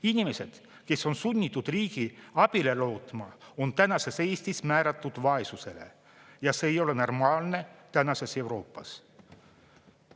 Inimesed, kes on sunnitud riigi abile lootma, on tänases Eestis määratud vaesusele ja see ei ole normaalne tänases Euroopas.